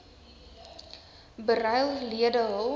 beryl lede hul